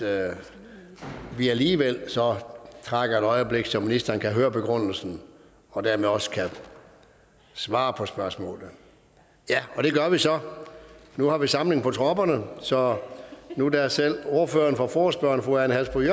at vi alligevel trækker et øjeblik så ministeren kan høre begrundelsen og dermed også kan svare på spørgsmålet ja og det gør vi så nu har vi samling på tropperne så nu da selv ordføreren for forespørgerne fru ane halsboe